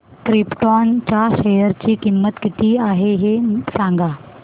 krypton च्या share ची किंमत किती आहे हे सांगा